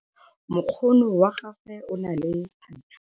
Mokgono wa gagwe o na le thathuu.